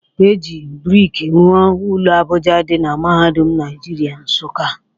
E ji brik rụọ ụlọ Abuja dị na Mahadum Naijiria Nsukka